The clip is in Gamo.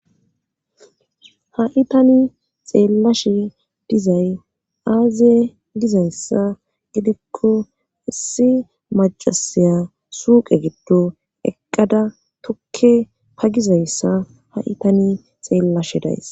haitani xeellashe dizay aaze dizayssa gidikko issi macasaya suuqe giddo eqqada tokke pagizayssa ha itani xeellashe days